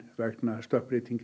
vegna stökkbreytinga